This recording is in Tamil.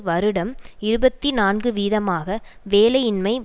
வருடம் இருபத்தி நான்கு வீதமாக வேலையின்மை